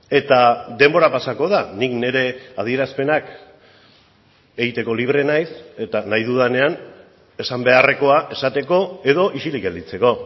eta denbora pasako da nik nire adierazpenak egiteko libre naiz eta nahi dudanean esan beharrekoa esateko edo isilik gelditzeko